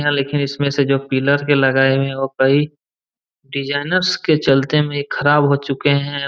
लिखे हुए हैं जो इसमें पिलर का लगाए हुए कई डिजिनर्स के चलते में ये खराब हो चुके हैं।